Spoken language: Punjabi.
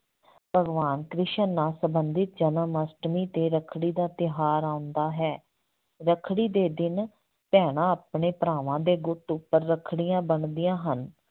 ਭਗਵਾਨ ਕ੍ਰਿਸ਼ਨ ਨਾਲ ਸੰਬੰਧਿਤ ਜਨਮਅਸ਼ਟਮੀ ਤੇ ਰੱਖੜੀ ਦਾ ਤਿਉਹਾਰ ਆਉਂਦਾ ਹੈ, ਰੱਖੜੀ ਦੇ ਦਿਨ ਭੈਣਾਂ ਆਪਣੇ ਭਰਾਵਾਂ ਦੇ ਗੁੱਟ ਉੱਪਰ ਰੱਖੜੀਆਂ ਬੰਨਦੀਆਂ ਹਨ।